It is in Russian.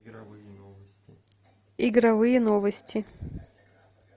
игровые новости